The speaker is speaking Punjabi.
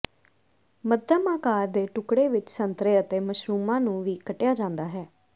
ਮੱਧਮ ਆਕਾਰ ਦੇ ਟੁਕੜੇ ਵਿਚ ਸੰਤਰੇ ਅਤੇ ਮਸ਼ਰੂਮਾਂ ਨੂੰ ਵੀ ਕੱਟਿਆ ਜਾਂਦਾ ਹੈ